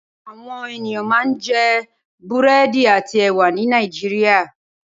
Awòn éniyàn mà n jè búrèdí àtí èwà ni Nàijiriá